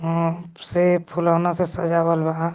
से फुलवना से सजावल बा.